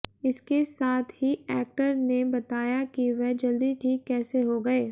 इसके सात ही एक्टर ने बताया कि वह जल्दी ठीक कैसे हो गए